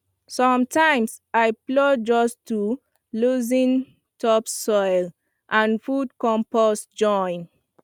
sometimes i plow just to loosen topsoil and put compost join